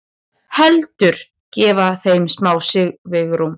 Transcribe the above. Heldur gefa þeim smá svigrúm.